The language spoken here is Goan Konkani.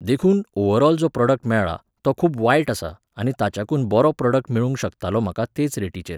देखून, ओव्हरऑल जो प्रॉडक्ट मेळ्ळा, तो खूब वायट आसा आनी ताच्याकून बरो प्रॉडक्ट मेळूंक शकतालो म्हाका तेच रेटीचेर